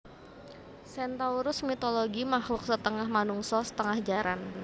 Centaurus mitologi makluk setengah manungsa setengah jaran